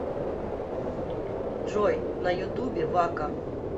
джой на ютубе вака